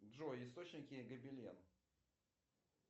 джой источники гобелен